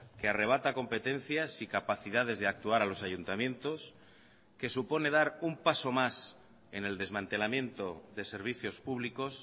que arrebata competencias y capacidades de actuar a los ayuntamientos que supone dar un paso más en el desmantelamiento de servicios públicos